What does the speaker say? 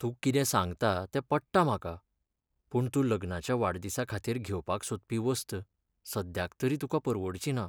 तूं कितें सांगता तें पट्टा म्हाका, पूण तूं लग्नाच्या वाडदिसा खातीर घेवपाक सोदपी वस्त सद्याक तरी तुका परवडची ना.